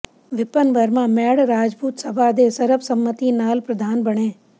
ਵਿਪਨ ਵਰਮਾ ਮੈੜ ਰਾਜਪੂਤ ਸਭਾ ਦੇ ਸਰਬਸੰਮਤੀ ਨਾਲ ਪ੍ਰਧਾਨ ਬਣੇ